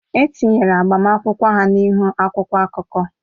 E tinyere agbamakwụkwọ ha n'ihu akwụkwọ akụkọ.